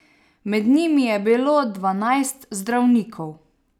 Med njimi je bilo dvanajst zdravnikov.